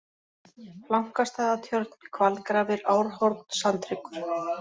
Flankastaðatjörn, Hvalgrafir, Árhorn, Sandhryggur